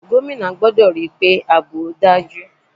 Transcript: Gómìnà gbọ́dọ̀ ríi pé àbò tó dájú.